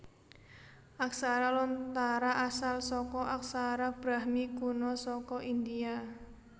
Aksara Lontara asal saka aksara Brahmi kuna saka India